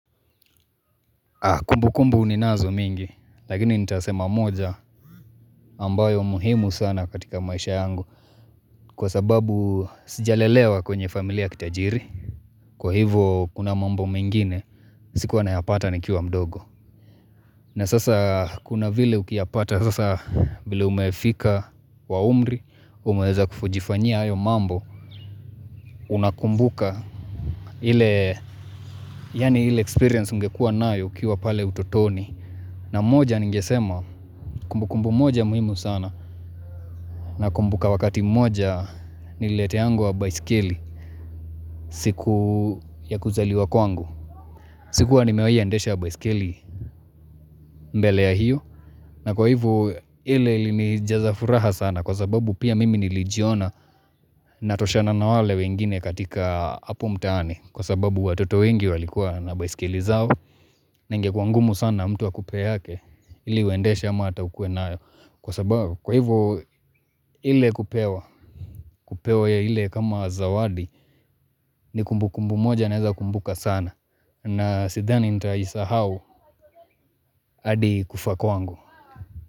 Kumbu kumbu ninazo mingi, lakini nitasema moja ambayo muhimu sana katika maisha yangu. Kwa sababu sija lelewa kwenye familia ya kitajiri. Kwa hivo kuna mambo mingine, sikuwa nayapata nikiwa mdogo. Na sasa kuna vile ukiyapata sasa vile umefika kwa umri. Umeweza kujifanyia hayo mambo unakumbuka. Ile, yani ile experience ungekua nayo ukiwa pale utotoni. Na moja ningesema kumbu kumbu moja muhimu sana na kumbuka wakati mmoja nilileteangwa baisikili siku ya kuzaliwa kwangu. Sikuwa nimewai endesha baisikeli mbele ya hiyo na kwa hivo ile ili nijazafuraha sana kwa sababu pia mimi nilijiona natoshana na wale wengine katika hapo mtaani. Kwa sababu watoto wengi walikuwa na baisikeli zao na ingekua ngumu sana mtu akupe yake ili uendeshe ama hata ukue nayo. Kwa sababu, kwa hivyo ile kupewa, kupewa ya ile kama zawadi, ni kumbu kumbu moja na naeza kumbuka sana. Na sithani nitaisahau hadi kufa kwangu.